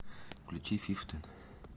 включи фифтин